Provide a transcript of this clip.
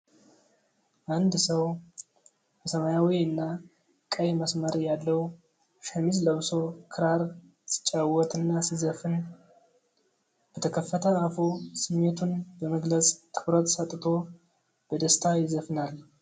አንድ ሰው በሰማያዊና ቀይ መስመር ያለው ሸሚዝ ለብሶ ክራር ሲጫወት እና ሲዘፍን። በተከፈተ አፉ ስሜቱን በመግለፅ ትኩረት ሰጥቶ በደስታ ይዘፍናል።